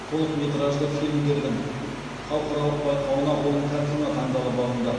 толықметражды фильмдердің халықаралық байқауына он картина таңдалып алынды